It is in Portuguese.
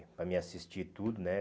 Para me assistir tudo, né?